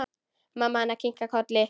Mamma hennar kinkar kolli.